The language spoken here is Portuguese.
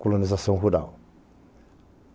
colonização rural.